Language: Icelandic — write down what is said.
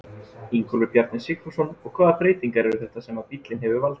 Ingólfur Bjarni Sigfússon: Og hvaða breytingar eru þetta sem að bíllinn hefur valdið?